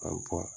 An